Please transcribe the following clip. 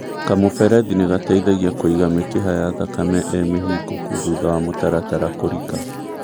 kamũberethi nĩgateithagia kũiga mĩkiha ya thakame ĩ mĩhingũkũ thutha wa mũtaratara kũrĩka